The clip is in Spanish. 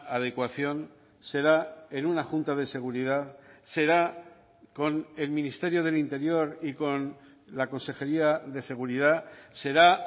adecuación será en una junta de seguridad será con el ministerio del interior y con la consejería de seguridad será